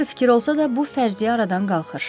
Yaxşı fikir olsa da, bu fərziyyə aradan qalxır.